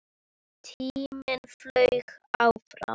Tíminn flaug áfram.